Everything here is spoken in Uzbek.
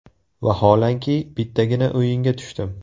Vaholanki, bittagina o‘yinga tushdim.